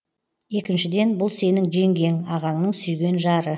екіншіден бұл сенің жеңгең ағаңның сүйген жары